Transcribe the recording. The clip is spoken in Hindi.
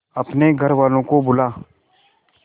अपने घर वालों को बुला